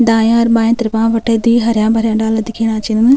दांया और बांया तरफ़ा बटे द्वि हर्या-भर्या डाला दिखेणा छिन।